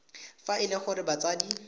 fa e le gore batsadi